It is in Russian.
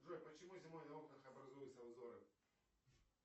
джой почему зимой на окнах образуются узоры